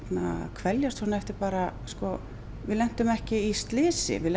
kveljast svona eftir bara við lentum ekki í slysi við